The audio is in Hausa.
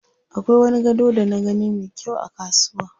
Akwai wani gado da na gani me kyau a kasuwa.